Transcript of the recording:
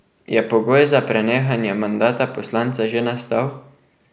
Je pogoj za prenehanje mandata poslanca že nastal?